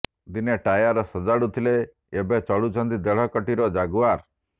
ଦିନେ ଟାୟାର ସଜାଡୁଥିଲେ ଏବେ ଚଢୁଛନ୍ତି ଦେଢ କୋଟିର ଜାଗୁଆର